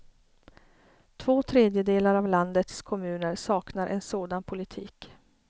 Två tredjedelar av landets kommuner saknar en sådan politik.